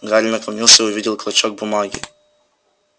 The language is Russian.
гарри наклонился и увидел клочок бумаги